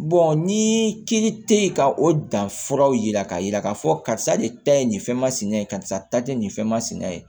ni kiri tɛ ka o danfuraw yira k'a yira k'a fɔ karisa de ta ye nin fɛn masina ye karisa ye nin fɛn masina ye